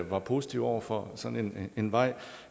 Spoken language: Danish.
var positiv over for sådan en vej